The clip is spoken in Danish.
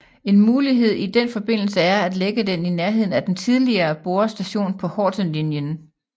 En mulighed i den forbindelse er at lægge den i nærheden af den tidligere Borre Station på Hortenlinjen